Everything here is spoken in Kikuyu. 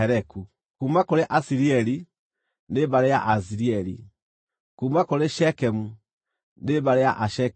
kuuma kũrĩ Asirieli, nĩ mbarĩ ya Aasirieli; kuuma kũrĩ Shekemu, nĩ mbarĩ ya Ashekemu;